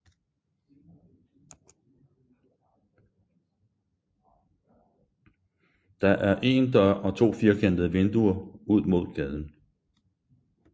Der er én dør og to firkantede vinduer ud mod gaden